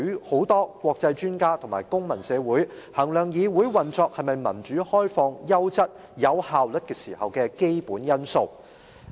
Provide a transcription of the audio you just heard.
很多國際專家和公民社會在衡量議會運作，是否民主、開放、優質、有效率時，這4項條件成為基本因素。